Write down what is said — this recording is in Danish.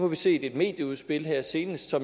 vi set et medieudspil her senest og